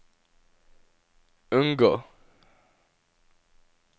unngå